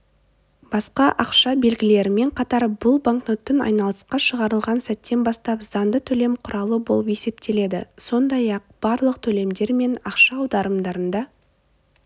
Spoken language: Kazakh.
басқа ақша белгілерімен қатар бұл банкнот айналысқа шығарылған сәттен бастап заңды төлем құралы болып есептеледі сондай-ақ барлық төлемдер мен ақша аударымдарында